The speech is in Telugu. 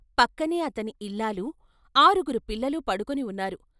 పక్కనే అతని ఇల్లాలు, ఆరుగురు పిల్లలు పడుకొని ఉన్నారు.